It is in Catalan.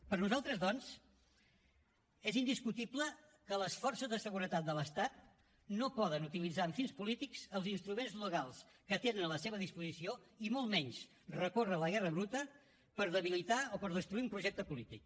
per nosaltres doncs és indiscutible que les forces de seguretat de l’estat no poden utilitzar amb fins polítics els instruments legals que tenen a la seva disposició i molt menys recórrer a la guerra bruta per debilitar o per destruir un projecte polític